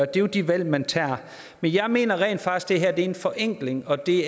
det er de valg man tager men jeg mener rent faktisk at det her er en forenkling og det